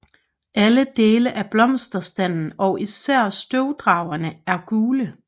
Alle dele af blomsterstanden og især støvdragerne er gule